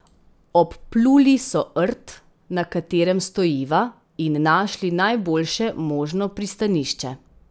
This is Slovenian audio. Obpluli so rt, na katerem stojiva, in našli najboljše možno pristanišče.